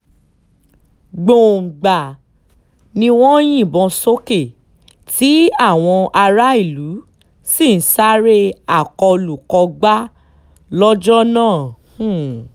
gbọ̀ngbàà ni wọ́n ń yìnbọn sókè tí àwọn aráàlú um sì ń sáré akólú-kógbá lọ́jọ́ náà um